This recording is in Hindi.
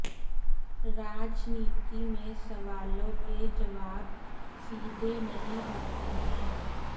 राजनीति में सवालों के जवाब सीधे नहीं होते हैं